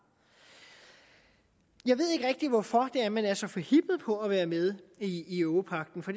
jeg ved ikke rigtig hvorfor man er så forhippet på at være med i europagten og